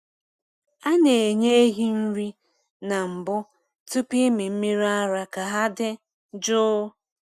A na m enye ehi nri na mbụ tupu ịmị mmiri ara ka ha dị jụụ.